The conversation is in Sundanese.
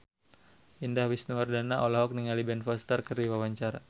Indah Wisnuwardana olohok ningali Ben Foster keur diwawancara